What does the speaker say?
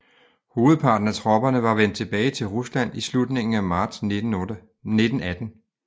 Hovedparten af tropperne var vendt tilbage til Rusland i slutningen af marts 1918